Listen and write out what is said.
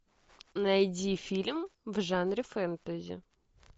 найди фильм в жанре фэнтези